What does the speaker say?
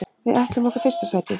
Við ætlum okkur fyrsta sætið.